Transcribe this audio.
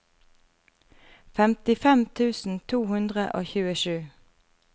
femtifem tusen to hundre og tjuesju